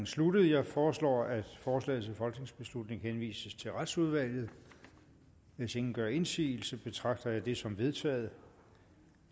sluttet jeg foreslår at forslaget til folketingsbeslutning henvises til retsudvalget hvis ingen gør indsigelse betragter jeg det som vedtaget